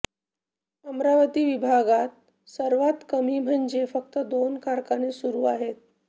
अमरावती विभागात सर्वांत कमी म्हणजे फक्त दोन कारखाने सुरू आहेत